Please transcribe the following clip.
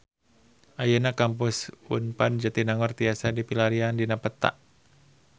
Ayeuna Kampus Unpad Jatinangor tiasa dipilarian dina peta